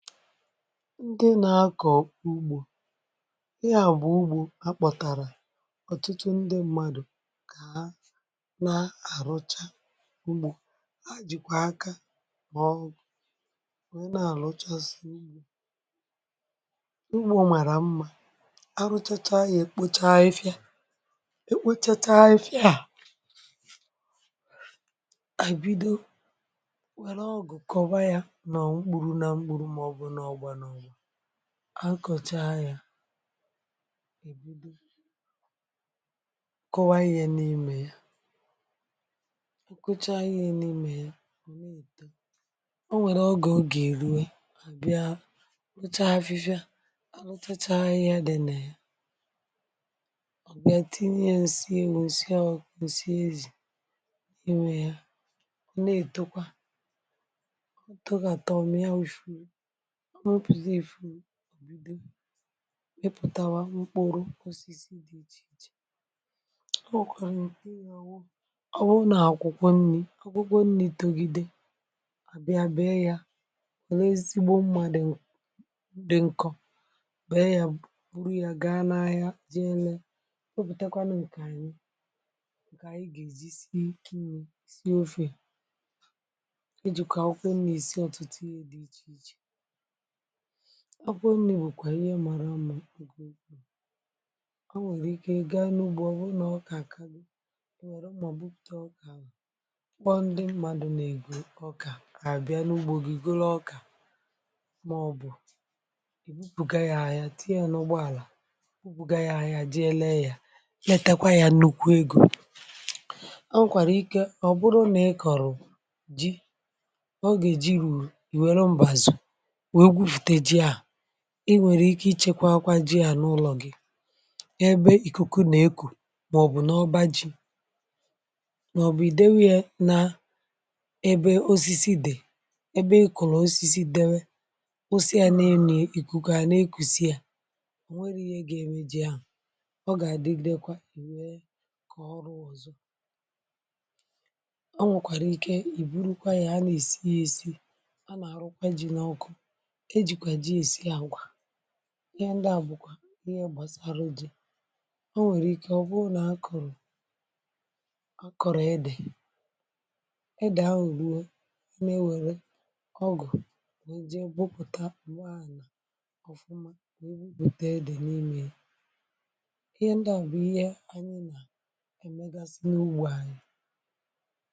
Ndị nà-akọ̀kọ̀ ugbò ị, à bụ̀ ugbò akpọ̀tàrà ọ̀tụtụ um ndị mmadụ̀, kà ha nà-àrụchà. Ugbò ha jìkwà akà n’ọgwụ̀. Onye nà-àrụchàsị mma, ugbò màrà mma, arụchachàá yà, èkpòchà afịfịa, èkpòchàchàá ya. À kọchàá ya, kọwaa ihe n’ime ya. Ọ kụchà anyị... n’ime ya, ọ nwerè oge ọ gà-erue, àbịa rụchà afịfịa. À rụchachàá...ahịhịa dị nà ya, ọ bịa tinye ya nsịè, wụsịa ọọ nsị ezi n’ime ya. Ọ nà-ètòkwa,(um) tòga, àtọ m ya. Weshùrụ ọ, mụpụ̀zì efu, òbìdè, ìpụ̀tàwà mkpùrụ osisi dị iche iche. Ọ wụ̀kwàràụ, ị gà-òwu. Ọ wụ nà àkwụkwọ um nni̇. Ọ gụgwọ nni̇, tọgide. Àbịa bee yà, o lée ezigbo mmadụ̀. Ndị nkọ um bee yà, bùbù, rụọ yà, gaa n’ahịa, jì élè... O bùtèkwànụ ǹkàrị̀, n’ǹkà à, ị gà-èjì isi ikinyì, isi ofè, iji̇ kà òkwèn nà ìsi ọ̀tụtụ ihe dị iche iche. Ọ bụrụ̀ nni, bụ̀kwa ihe màrà mma. Ụmụ nke o nwerè ike, ìgà n’ugbo. Ọ bụ na ọka, dị ihe, nwerè ụmụọbụ, pụta ọka, kpọọ ndị mmadụ, na-ego ọka, ka bịa n’ugbo gị, ìgòrò ọka. Màọ̀bụ̀ iwù, bùgà ya ahịa, tìì yà n’ụgbọ̀àlà. Iwù bùgà ahịa, jì élè ya, lètàkwà ya, nnukwu ego. Ọ nwerè ike ọ bụ nà ị kọ̀rọ̀ ji. Ọ gà-èjì rù, ì wèrè mbàzù. Ị nwerè ike ichèkwà akwa ji à n’ụlọ̀ gị̇, ebe ikuku na-èkù, màọ̀bụ̀ n’ọba ji, màọ̀bụ̀ ìdewò yà n’ebe osisi dị̀, ebe ìkụ̀rụ̀ osisi, dèwè osi à... nà-ènù ìkùkù à n’èkùsìà. Ò nwerè ihe gà-èmè ji à? Ọ gà-àdịdèkwà em ìnwèrè kà ọrụ ọ̀zọ̀. Ọ nwerèkwàrà ike, ìbùrùkwà yà. Ha nà-èsi ya, èsì ihe. Ndị à bụ̀ ihe a gbasàrà iji̇. Ọ nwerè ike, ọ bụ nà a kụ̀rụ̀, a kụ̀rụ̀, ịdị̇, ịdị̀ ahù̀ arúè. Yà nà-ewèrè um ọgụ̀, nà-iji mpụta mgbà à nà-òfụma(um0 nà ubi, bùtè ịdị̇ n’ìmē. Ndị à bụ̀ ihe ànyị nà.